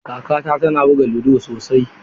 Kakata tana buga ludo sosai.